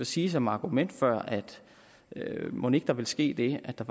sige som argument før mon ikke der vil ske det at der